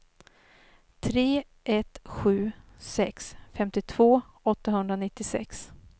tre ett sju sex femtiotvå åttahundranittiosex